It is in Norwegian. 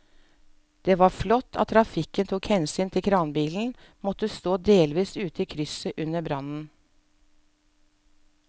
Det var flott at trafikken tok hensyn til at kranbilen måtte stå delvis ute i krysset under brannen.